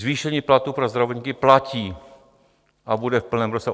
Zvýšení platů pro zdravotníky platí a bude v plném rozsahu.